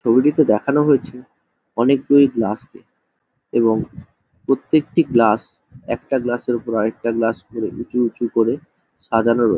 ছবিটিতে দেখানো হয়েছে অনেকগুলি গ্লাস কে এবং প্রত্যেকটি গ্লাস একটা গ্লাসের ওপর আর একটি গ্লাস ধরে উঁচু উঁচু করে সাজানো রয়--